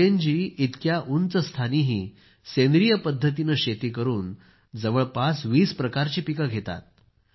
उरगेनजी इतक्या उंचस्थानीही सेंद्रीय पद्धतीने शेती करून जवळपास 20 प्रकारची पिके घेतात